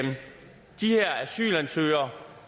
de her asylansøgere